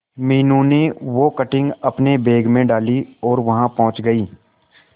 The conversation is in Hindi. मीनू ने वो कटिंग अपने बैग में डाली और वहां पहुंच गए